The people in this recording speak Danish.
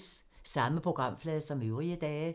Samme programflade som øvrige dage